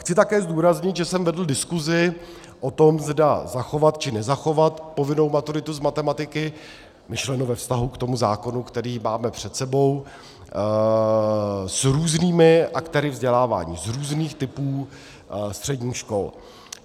Chci také zdůraznit, že jsem vedl diskuzi o tom, zda zachovat či nezachovat povinnou maturitu z matematiky, myšleno ve vztahu k tomu zákonu, který máme před sebou, s různými aktéry vzdělávání z různých typů středních škol.